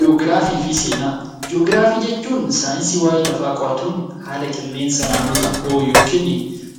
Ji'ograafii fi Seenaa Ji'oograafii jechuun saayinsii waa'ee lafaa qo'atuun haala qilleensa naannoo tokkoo yookiin